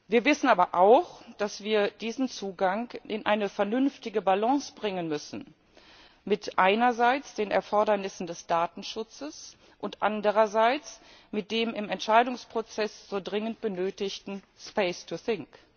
Wir wissen aber auch, dass wir diesen Zugang in eine vernünftige Balance bringen müssen, einerseits mit den Erfordernissen des Datenschutzes und andererseits mit dem im Entscheidungsprozess so dringend benötigten space to think.